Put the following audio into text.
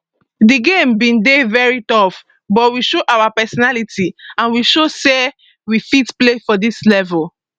di game bin dey very tough but we show our personality and we show say we fit play for dis level